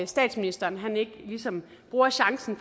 statsministeren ikke ligesom bruger chancen